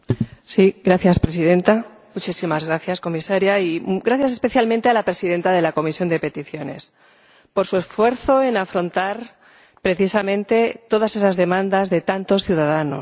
Señora Presidenta, muchísimas gracias, Comisaria, y gracias especialmente a la presidenta de la Comisión de Peticiones por su esfuerzo a la hora de afrontar, precisamente, todas esas demandas de tantos ciudadanos